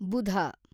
ಬುಧ